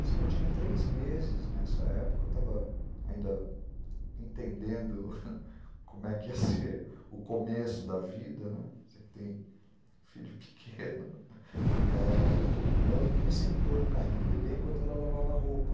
Diz que eu tinha três meses nessa época, eu estava ainda entendendo como é que ia ser o começo da vida, né, você que tem filho pequeno, e ela me sentou no carrinho de bebê enquanto ela lavava a roupa.